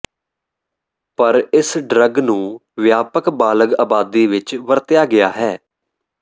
ਪਰ ਇਸ ਡਰੱਗ ਨੂੰ ਵਿਆਪਕ ਬਾਲਗ ਆਬਾਦੀ ਵਿੱਚ ਵਰਤਿਆ ਗਿਆ ਹੈ